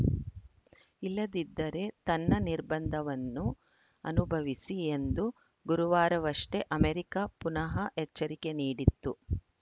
ಇಲ್ಲದಿದ್ದರೆ ತನ್ನ ನಿರ್ಬಂಧವನ್ನು ಅನುಭವಿಸಿ ಎಂದು ಗುರುವಾರವಷ್ಟೇ ಅಮೆರಿಕ ಪುನಃ ಎಚ್ಚರಿಕೆ ನೀಡಿತ್ತು